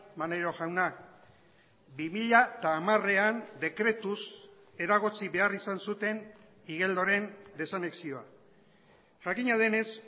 maneiro jauna bi mila hamarean dekretuz eragotzi behar izan zuten igeldoren desanexioa jakina denez